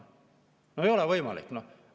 No ei ole võimalik!